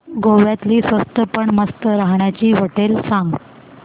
गोव्यातली स्वस्त पण मस्त राहण्याची होटेलं सांग